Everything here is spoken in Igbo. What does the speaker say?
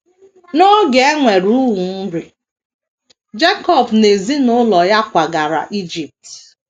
N’oge e nwere ụnwụ nri, Jekọb na ezinụlọ ya kwagara Ijipt.